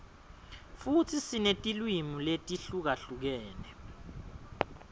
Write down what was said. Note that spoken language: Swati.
futsi sinetilwimi letihlukahlukene